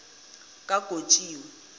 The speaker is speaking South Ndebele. kagotjiwe